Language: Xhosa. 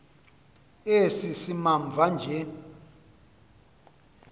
esi simamva nje